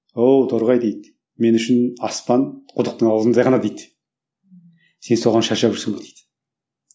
оу торғай дейді мен үшін аспан құдықтың аузындай ғана дейді сен соған шаршап жүрсің бе дейді